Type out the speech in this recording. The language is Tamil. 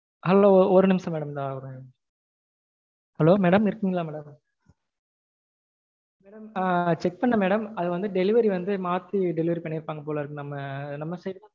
hello ஒரு நிமிஷம் madam hello madam இருக்கிங்களா madam check பண்ணேன் madam அது வந்து delivery வந்து மாத்தி delivery பண்ணிரு பாங்க போல இருக்கு நம்ம side.